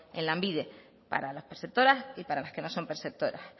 en lanbide para las perceptoras y para las que no son perceptoras